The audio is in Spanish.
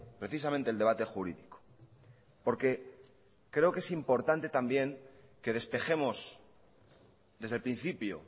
precisamente el debate jurídico porque creo que es importante también que despejemos desde el principio